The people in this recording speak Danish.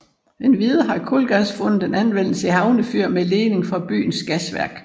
Endvidere har kulgas fundet anvendelse i havnefyr med ledning fra byens gasværk